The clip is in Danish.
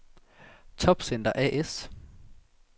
Topcenter A/S